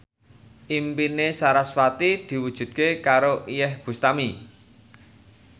impine sarasvati diwujudke karo Iyeth Bustami